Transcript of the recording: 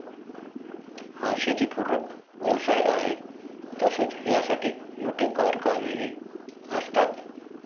हा शेतीपूरक व्यवसाय आहे तसेच यासाठी मोठे कारखानेहि असतात.